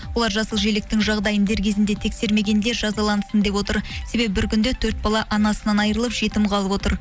олар жасыл желіктің жағдайын дер кезінде тексермегендер жазалансын деп отыр себебі бір күнде төрт бала анасынан айырылып жетім қалып отыр